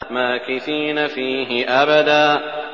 مَّاكِثِينَ فِيهِ أَبَدًا